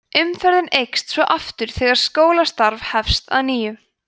umferðin eykst svo aftur þegar skólastarf hefst að nýju